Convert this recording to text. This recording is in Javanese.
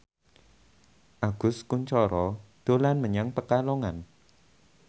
Agus Kuncoro dolan menyang Pekalongan